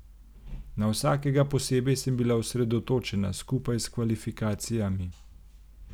Na vsakega posebej sem bila osredotočena, skupaj s kvalifikacijami.